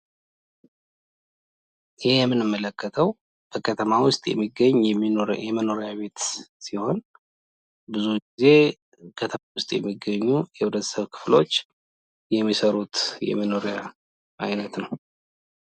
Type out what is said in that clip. ይህ የምንመለከተው በከተማ ውስጥ የሚገኝ የመኖርያ ቤት ሲሆን፤ ብዙ ጊዜ ከተማ ውስጥ የሚገኙ የህብረተሰብ ክፍሎች የሚሰሩት የመኖሪያ አይነት ነው።